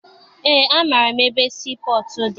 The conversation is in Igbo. Eé, amaara m ebe sii pọtụ dị.